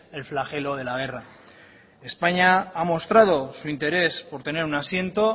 el flagelo de la guerra españa ha mostrado su interés por tener un asiento